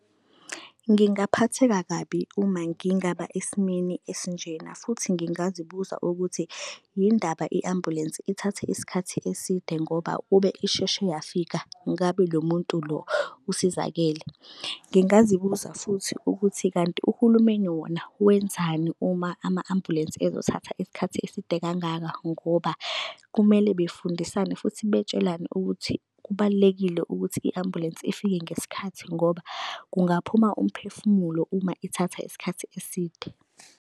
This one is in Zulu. Ngingaphatheka kabi uma ngingaba esimweni esinjena futhi ngingazibuza ukuthi yini indaba i-ambulensi ithathe isikhathi eside ngoba kube isheshe yafika ngabe lo muntu lo usizakele. Ngingazibuza futhi ukuthi kanti uhulumeni wona wenzani uma ama-ambulensi ezothatha isikhathi eside kangaka, ngoba kumele befundisane futhi betshelane ukuthi kubalulekile ukuthi i-ambulensi ifike ngesikhathi ngoba kungaphuma umphefumulo uma ithatha isikhathi eside.